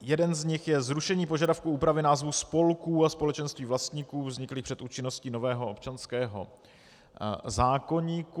Jeden z nich je zrušení požadavku úpravy názvu spolků a společenství vlastníků vzniklých před účinností nového občanského zákoníku.